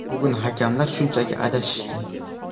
Bugun hakamlar shunchaki adashishdi.